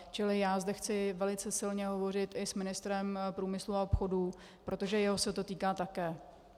Čili já zde chci velice silně hovořit i s ministrem průmyslu a obchodu, protože jeho se to týká také.